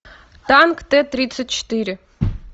танк т тридцать четыре